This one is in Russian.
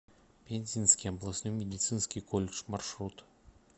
пензенский областной медицинский колледж маршрут